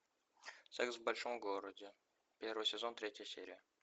секс в большом городе первый сезон третья серия